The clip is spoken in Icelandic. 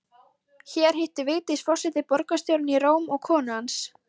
Hér hittir Vigdís forseti borgarstjórann í Róm og konu hans